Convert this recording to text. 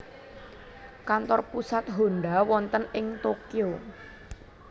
Kantor pusat Honda wonten ing Tokyo